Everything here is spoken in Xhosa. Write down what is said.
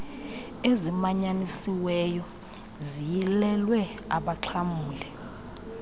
ezimanyanisiweyo ziyilelwe abaxhamli